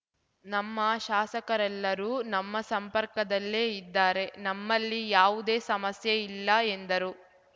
ನಮ್ಮ ಶಾಸಕರೆಲ್ಲರೂ ನಮ್ಮ ಸಂಪರ್ಕದಲ್ಲೇ ಇದ್ದಾರೆ ನಮ್ಮಲ್ಲಿ ಯಾವುದೇ ಸಮಸ್ಯೆ ಇಲ್ಲ ಎಂದರು